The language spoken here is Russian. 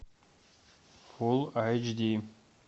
фулл эйч ди